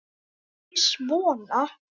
Nei, ekki svona.